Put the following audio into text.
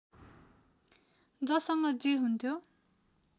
जससँग जे हुन्थ्यो